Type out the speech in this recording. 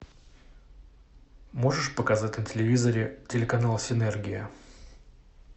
можешь показать на телевизоре телеканал синергия